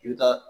I bɛ taa